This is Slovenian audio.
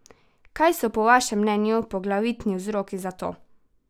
Kaj so po vašem mnenju poglavitni vzroki za to?